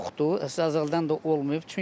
Əzəldən də olmayıb.